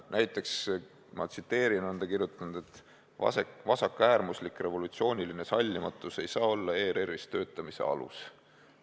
Näiteks on ta kirjutanud, et "vasakäärmuslik revolutsiooniline sallimatus ei saa olla ERR-is töötamise alus".